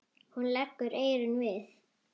Hún leggur eyrun við.